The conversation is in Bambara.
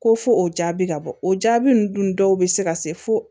Ko fo o jaabi ka bɔ o jaabi ninnu dun dɔw bɛ se ka se fo